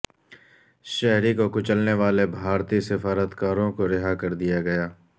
شہری کو کچلنے والے بھارتی سفارتکاروں کو رہا کردیا گیا